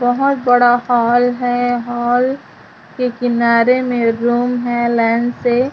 बहोत बड़ा हॉल है हॉल के किनारे में रूम है लाइन से--